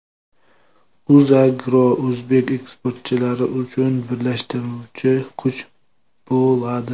UzAgro o‘zbek eksportchilari uchun birlashtiruvchi kuch bo‘ladi.